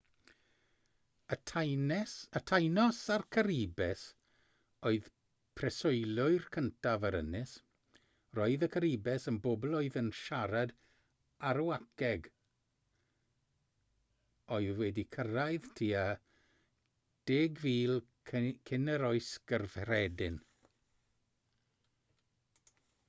y taínos a'r caribes oedd preswylwyr cyntaf yr ynys roedd y caribes yn bobl oedd yn siarad arawakeg oedd wedi cyrraedd tua 10,000 cyn yr oes gyffredin